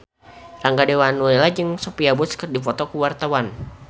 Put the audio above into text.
Rangga Dewamoela jeung Sophia Bush keur dipoto ku wartawan